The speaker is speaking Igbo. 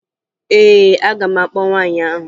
Ee, aga m akpọ nwaanyị ahụ